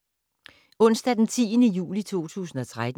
Onsdag d. 10. juli 2013